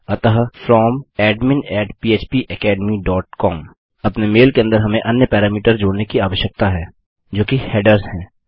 अतः From admin phpacademycom अपने mail के अंदर हम अन्य पैरामीटर को जोड़ने की आवश्यकता है जो कि हेडर्स है